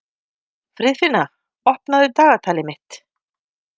Friðfinna, opnaðu dagatalið mitt.